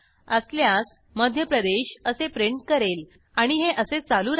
असल्यास मध्य प्रदेश असे प्रिंट करेल आणि हे असे चालू राहिल